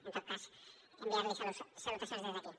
en tot cas enviar li salutacions des d’aquí